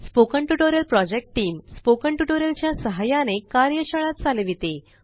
spoken tutorial project team spoken tutorial च्या सहाय्याने कार्यशाळा चालविते